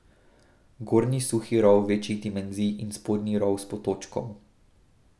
Gornji suhi rov večjih dimenzij in spodnji rov s potočkom.